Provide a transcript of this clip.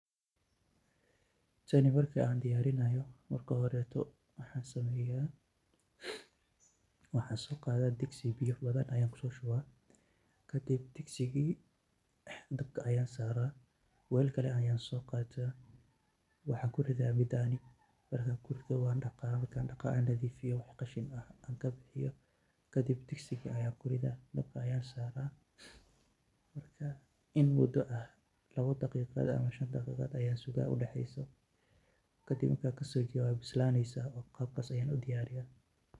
Taani marka an diyarinayo marka horeeto waxan sobiyah, waxan soqatha degsi biya bathan Aya kusoshubah kabdib degsiki dab Aya Sarah, welkali Aya soqatah waxanjuritah bidani, markan kurithoh maran daqaha aa nathifiyoh waxkasheen AA kabixyoh kadib degsika Aya kurithah bad aya Sarah maraka in muda oo shan daqiqah Aya Sarah kabdib islan Sarah.